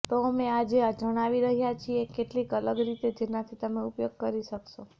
તો અમે આજે જણાવી રહ્યાં છીએ કેટલીક અલગ રીત જેનાથી તમે ઉપયોગ કરી શકશો